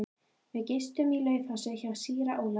Við gistum í Laufási hjá síra Ólafi.